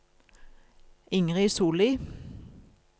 Ingrid Solli